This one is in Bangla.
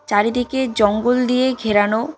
চারিদিকে জঙ্গল দিয়ে ঘেরানো।